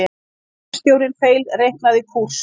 Skipstjórinn feilreiknaði kúrs